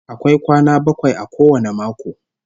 Akwai kwana bakwai a kowane mako